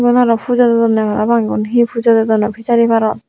igun aro pujo dedonne parapang igun he pujo dedon pejari parot.